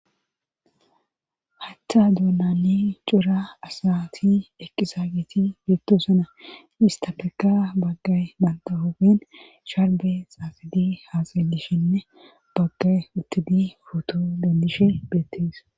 Hachcha duunani cura asati eqqisaagiti beettosana istafeka baggay mandahoogen sharbe xaaxidi haasalishinne baggay uttidi futo bendishe beettees